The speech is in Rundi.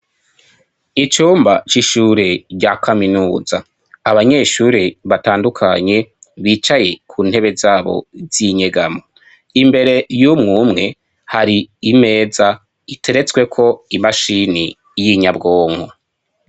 Icumba c'ishure rya kaminuza. Abanyeshure batandukanye bicaye ku ntebe zabo z'inyegamo. Imbere y'umwumwe hari imeza iteretsweko imashini y'inyabwonko.